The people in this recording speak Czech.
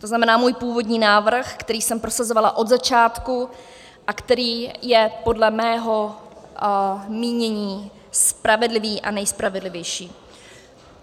To znamená, můj původní návrh, který jsem prosazovala od začátku a který je podle mého mínění spravedlivý a nejspravedlivější.